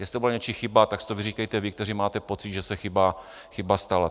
Jestli to byla něčí chyba, tak si to vyříkejte vy, kteří máte pocit, že se chyba stala.